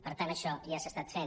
per tant això ja s’ha estat fent